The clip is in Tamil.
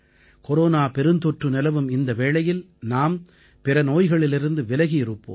கொரோனா பெருந்தொற்று நிலவும் இந்த வேளையில் நாம் பிற நோய்களிலிருந்து விலகி இருப்போம்